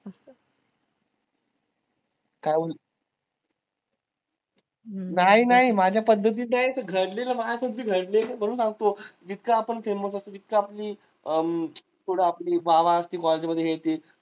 काहून नाही नाही ते माझ्या पद्धतीत नाही ते घडलेलं माझ्यासोबती घडलेलं म्हणून सांगतो जितकं आपण famous असतो तितकं आपली हम्म थोडं आपली वाह वाह असती college मध्ये हे ते